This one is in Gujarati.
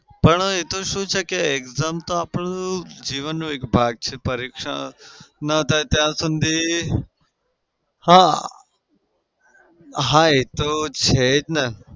પણ એતો શું છે કે exam તો આપડી જીવનનો એક ભાગ છે. પરીક્ષા ના થાય ત્યાં સુધી હા હા એતો છે ને